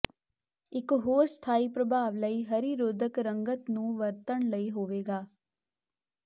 ਇੱਕ ਹੋਰ ਸਥਾਈ ਪ੍ਰਭਾਵ ਲਈ ਹਰੀ ਰੋਧਕ ਰੰਗਤ ਨੂੰ ਵਰਤਣ ਲਈ ਹੋਵੇਗਾ